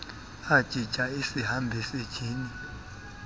ajija isihambisi njini